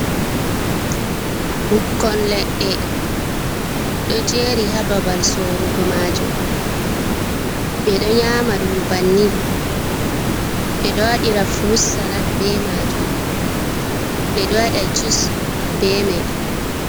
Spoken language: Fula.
Ɓukkon leɗɗe ɗo jeri ha babal sorugo majum, ɓe ɗo nyama ɗum bannin, ɓe ɗo wadira frut salat be majum ɓeɗo waɗa jus be mai.